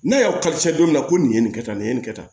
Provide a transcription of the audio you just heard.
N'a y'aw kalifa don don min na ko nin ye nin kɛ tan nin ye nin kɛ tan